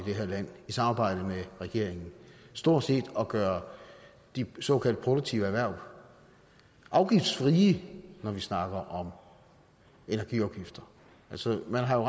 det her land i samarbejde med regeringen stort set at gøre de såkaldt produktive erhverv afgiftsfrie når vi snakker om energiafgifter altså man har